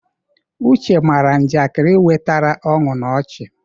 Uche mara njakịrị wetara ọṅụ na ọchị.